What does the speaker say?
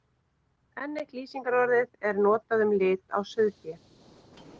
Enn eitt lýsingarorðið er notað um lit á sauðfé.